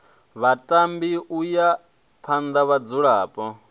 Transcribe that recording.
vhatambi u ya phana vhadzulapo